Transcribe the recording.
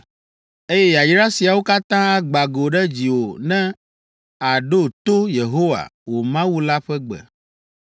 eye yayra siawo katã agbã go ɖe dziwò ne àɖo to Yehowa, wò Mawu la ƒe gbe.